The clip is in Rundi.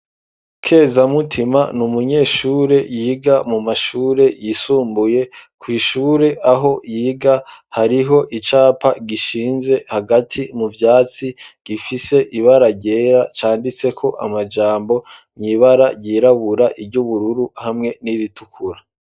Kezamutima ni umunyeshure yiga mu mashure yisumbuye ku ishure aho yiga hariho icapa gishinze hagati mu vyatsi gifise ibara ryera canditseko amajambo n'ibara ryirabura , iry'ubururu hamwe n'iritukura.